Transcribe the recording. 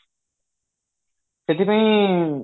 ସେଥିପାଇଁ